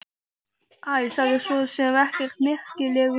Æ, það er svo sem ekkert merkilegur fundur.